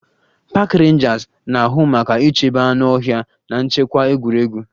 Park Rangers na-ahụ maka ichebe anụ ọhịa na nchekwa egwuregwu